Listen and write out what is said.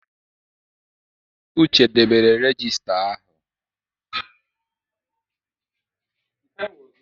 Uche debere regista ahụ.